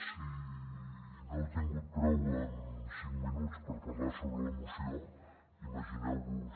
si no n’heu tingut prou amb cinc minuts per parlar sobre la moció imagineu·vos